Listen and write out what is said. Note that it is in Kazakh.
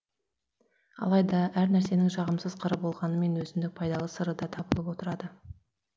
алайда әр нәрсенің жағымсыз қыры болғанымен өзіндік пайдалы сыры да табылып отырады